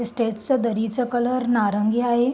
Stage च colour नारंगी आहे.